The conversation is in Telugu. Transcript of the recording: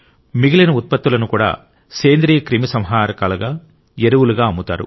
మిగిలిన ఉత్పత్తులను కూడా పురుగుమందులుగా అమ్ముతారు